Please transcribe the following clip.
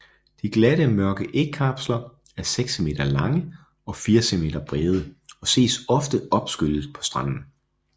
De glatte mørke ægkapsler er seks cm lange og fire cm bredde og ses ofte opskyllet på stranden